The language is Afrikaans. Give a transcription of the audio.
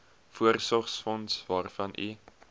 voorsorgsfonds waarvan u